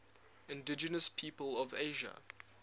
indigenous peoples of asia